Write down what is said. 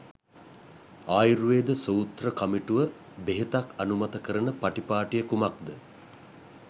ආයුර්වේද සූත්‍ර කමිටුව බෙහෙතක් අනුමත කරන පටිපාටිය කුමක්ද?